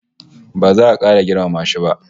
Ba za a kara girmama shi ba